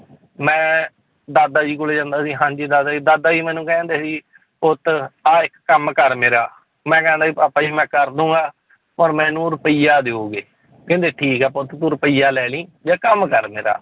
ਮੈਂ ਦਾਦਾ ਜੀ ਕੋਲੇ ਜਾਂਦਾ ਸੀ ਹਾਂਜੀ ਦਾਦਾ ਜੀ ਦਾਦਾ ਜੀ ਮੈਨੂੰ ਕਹਿ ਦਿੰਦੇ ਸੀ ਪੁੱਤ ਆਹ ਇੱਕ ਕੰਮ ਕਰ ਮੇਰਾ, ਮੈਂ ਕਹਿੰਦਾ ਸੀ ਭਾਪਾ ਜੀ ਮੈਂ ਕਰ ਦਊਂਗਾ ਪਰ ਮੈਨੂੰ ਰੁਪਇਆ ਦਓਗੇ ਕਹਿੰਦੇ ਠੀਕ ਹੈ ਪੁੱਤ ਤੂੰ ਰੁਪਇਆ ਲੈ ਲਈ, ਜਾ ਕੰਮ ਕਰ ਮੇਰਾ